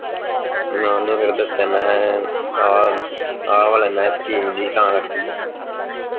ਮੈਂ ਓਹਨੂੰ ਫੇਰ ਦਸਿਆ ਮੈਂ ਕਿਹਾ ਆਹ ਆਹ ਵਾਲਾ ਮੈਂ ਕਿਹਾ ਸਕੀਮ ਸੀ ਤਾਂ ਕਰਕੇ